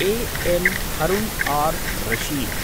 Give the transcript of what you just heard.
A M Harun ar Rashid